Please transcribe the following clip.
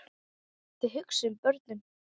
Þið hugsið um börnin.